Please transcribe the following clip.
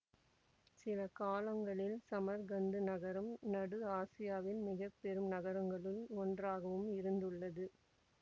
சில காலங்களில் சமர்கந்து நகரம் நடு ஆசியாவின் மிக பெரும் நகரங்களுள் ஒன்றாகவும் இருந்துள்ளது